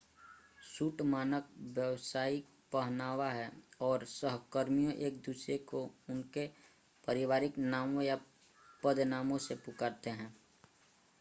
suit मानक व्यावसायिक पहनावा हैं और सहकर्मी एक-दूसरे को उनके पारिवारिक नामों या पद नामों से पुकारते हैं